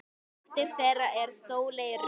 Dóttir þeirra er Sóley Rut.